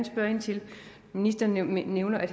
spørge ind til ministeren nævner at